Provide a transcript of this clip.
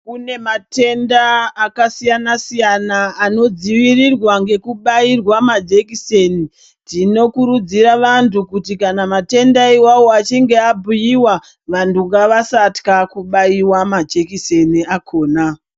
Kunematenda akasiyana siyana anodzivirirwa ngekubayiwa majekiseni tinokurudzira vantu kana matenda iwayo achinge abhuya vantu ngavasatya kubayiwa majekiseni akona